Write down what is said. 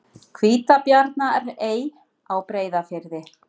Hvítabjarnarey á Breiðafirði.